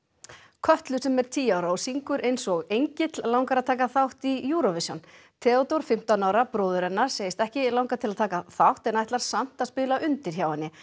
Kötlu sem er tíu ára og syngur eins og engill langar að taka þátt í Eurovision Theódór fimmtán ára bróðir hennar segist ekki langa til að taka þátt en ætlar samt að spila undir hjá henni